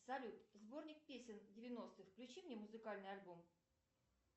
салют сборник песен девяностых включи мне музыкальный альбом